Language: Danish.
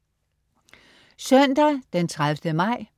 Søndag den 30. maj